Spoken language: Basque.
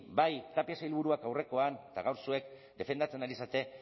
bai tapia sailburua aurrekoan eta gaur zuek defendatzen ari zarete